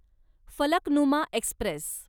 Falaknuma Express